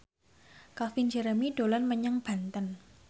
Calvin Jeremy dolan menyang Banten